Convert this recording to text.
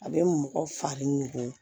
A bɛ mɔgɔ fari nugu